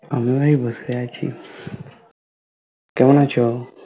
আমি এই বসে আছি কেমন আছো?